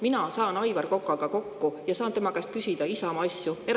Mina saan Aivar Kokaga kokku ja saan tema käest Isamaa asjade kohta eraviisiliselt küsida.